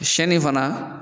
Siyɛnni fana